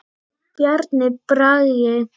Bjarni Bragi.